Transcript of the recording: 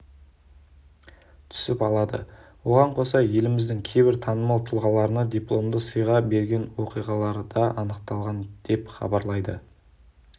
түсіп алады оған қоса еліміздің кейбір танымал тұлғаларына дипломды сыйға берген оқиғаларда анықталған деп хабарлайды